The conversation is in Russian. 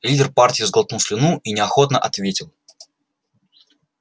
лидер партии сглотнул слюну и неохотно ответил